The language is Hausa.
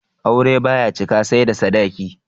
Aure baya cika sai da sadaki